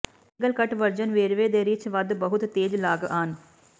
single cut version ਵੇਰਵੇ ਦੇ ਰਿੱਛ ਵੱਧ ਬਹੁਤ ਤੇਜ਼ ਲਾੱਗਆਨ